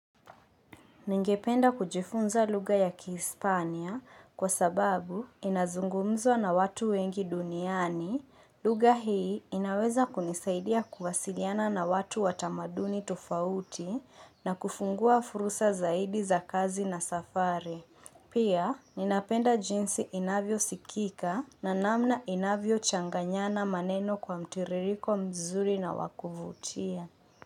Ningependa kujifunza lugha ya Kihispania kwa sababu inazungumzwa na watu wengi duniani, lugha hii inaweza kunisaidia kuwasiliana na watu watamaduni tofauti na kufungua fursa zaidi za kazi na safari. Pia, ninapenda jinsi inavyo sikika na namna inavyo changanyana maneno kwa mtiririko mzuri na wakuvutia.